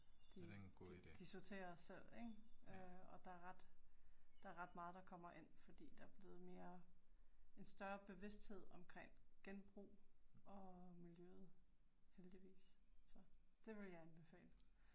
De de de sorterer selv ik, øh, og der er ret der er meget der kommer ind fordi der er blevet mere, en større bevidsthed omkring genbrug og miljøet heldigvis så det ville jeg anbefale